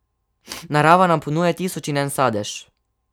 Narava nam ponuja tisoč in en sadež.